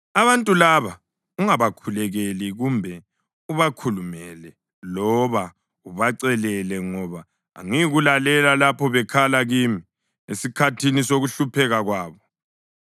Abantu laba ungabakhulekeli kumbe ubakhulumele loba ubacelele, ngoba angiyikulalela lapho bekhala kimi esikhathini sokuhlupheka kwabo.